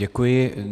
Děkuji.